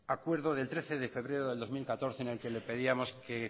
acuerdo del trece de febrero del dos mil catorce en el que le pedíamos que